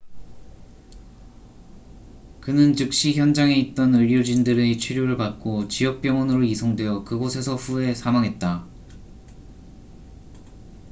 그는 즉시 현장에 있던 의료진들의 치료를 받고 지역 병원으로 이송되어 그곳에서 후에 사망했다